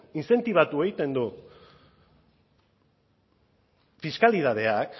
intzentibatu egiten du fiskalitateak